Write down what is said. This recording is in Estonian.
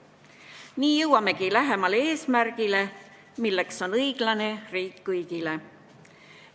Nii jõuamegi lähemale eesmärgile, milleks on õiglane riik kõigile.